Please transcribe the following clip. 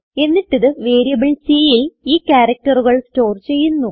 എന്നിട്ടിത് വേരിയബിൾ Cൽ ഈ ക്യാരക്റ്ററുകൾ സ്റ്റോർ ചെയ്യുന്നു